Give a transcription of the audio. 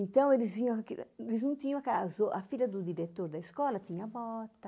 Então, eles viram aquilo eles não tinham aquelas... A filha do diretor da escola tinha bota.